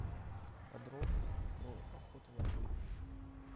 подробности про охоту в отеле